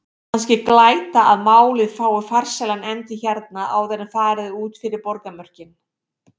Kannski glæta að málið fái farsælan endi hérna- áður en farið er út fyrir borgarmörkin!